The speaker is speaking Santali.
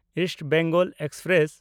East Bengal express